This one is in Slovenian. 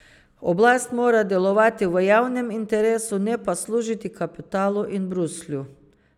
Oblast mora delovati v javnem interesu, ne pa služiti kapitalu in Bruslju.